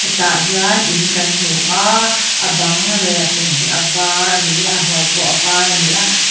hetah hian in kan hmu a a bang leh a chung hi a var a ni a a hnuai pawh var a ni a.